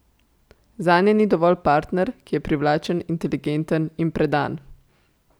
Zanje ni dovolj partner, ki je privlačen, inteligenten in predan.